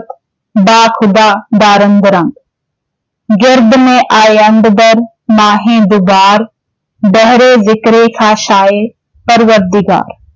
ਬਾਖ਼ੁਦਾ ਦਾਰੰਦ ਰੰਗ ॥ ਗਿਰਦਮੇ ਆਯੰਦ ਦਰ ਮਾਹੇ ਦੁਬਾਰ। ਬਹਿਰੇ ਜ਼ਿਕਰੇ ਖ਼ਾਸਏ ਪਰਵਰਦਿਗਾਰ ॥